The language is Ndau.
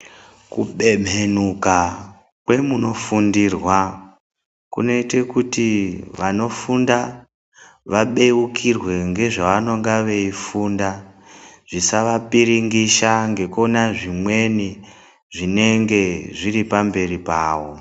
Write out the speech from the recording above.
Kubemhenuka kwemunofundirwa kunoita kuti vanofunda vabeukirwe ngezvavanonga veifunda zvisavapiringisha ngekuona zvimweni zvinenge zviri pamberi pavo.